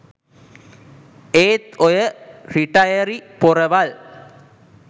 ඒත් ඔය රිටයරි පොරවල්